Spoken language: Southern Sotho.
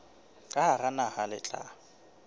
ka hara naha le tla